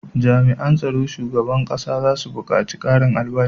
Jami an tsaron shugaban ƙasa zasu bukaci karin albashi